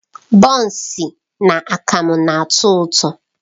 Bọns na akamu na-atọ ụtọ.